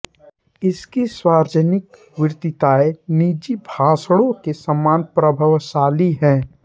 उसकी सार्वजनिक वक्तृताएँ निजी भाषणों के समान प्रभावशाली हैं